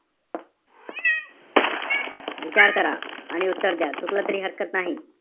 विचार करा. आणि उत्तर द्या. चुकलं तरी हरकत नाही.